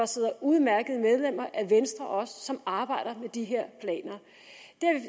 sidder udmærkede medlemmer af venstre som arbejder med de her planer